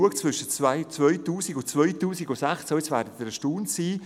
Sie werden jetzt erstaunt sein: